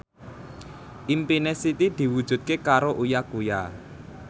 impine Siti diwujudke karo Uya Kuya